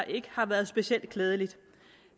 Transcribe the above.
ikke har været specielt klædeligt